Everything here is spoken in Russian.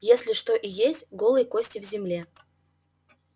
если что и есть голые кости в земле